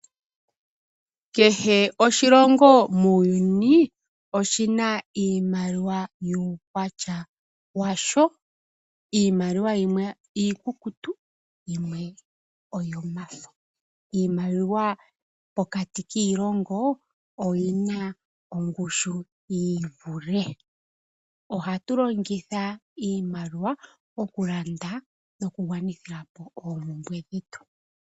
Kehe oshilongo muuyuni oshina iimaliwa yuukwatya washo. Iimaliwa yimwe iikukutu yimwe oyomafo. Iimaliwa pokati kiilongo oyina ongushu yiivule. Ohatu longitha iimaliwa okulanda noku gwanithilapo oompumbwe dhetu.